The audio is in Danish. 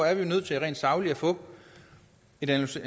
er vi nødt til rent sagligt at få en analyse